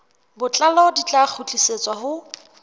botlalo di tla kgutlisetswa ho